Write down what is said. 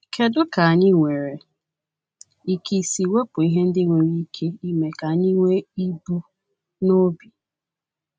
Kedu ka anyị nwere ike isi wepụ ihe ndị nwere ike ime ka anyị nwee ibu n’obi?